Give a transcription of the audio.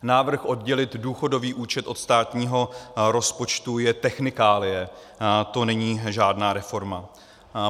Návrh oddělit důchodový účet od státního rozpočtu je technikálie, to není žádná reforma.